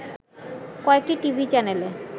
কয়েকটি টিভি চ্যানেলে